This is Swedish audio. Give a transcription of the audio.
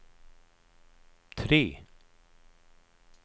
tre